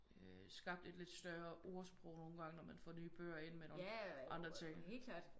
Øh skabt et lidt større ordsprog nogen gange når man får nye bøger ind med nogen andre ting